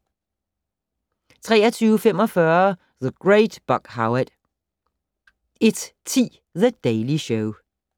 23:45: The Great Buck Howard 01:10: The Daily Show